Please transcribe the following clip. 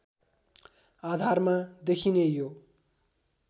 आधारमा देखिने यो